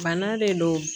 Bana de don